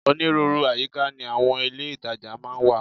Onírúurú àyíká ni àwọn ilé ìtajà máa ń wà